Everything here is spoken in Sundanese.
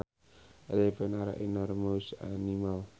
Elephants are enormous animals